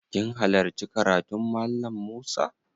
Kin hallarci karatun Mallam Musa?